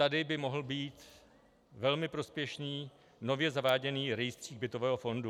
Tady by mohl být velmi prospěšný nově zaváděný rejstřík bytového fondu.